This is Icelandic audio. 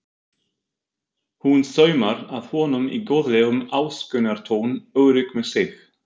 Hún saumar að honum í góðlegum ásökunartón, örugg með sig.